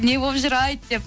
не болып жүр айт деп